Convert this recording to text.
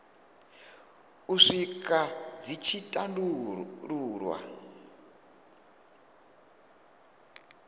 u swika dzi tshi tandululwa